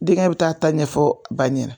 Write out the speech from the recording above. Denkɛ bi taa a ta ɲɛfɔ a ba ɲɛna